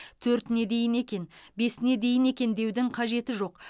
төртіне дейін екен бесіне дейін екен деудің қажеті жоқ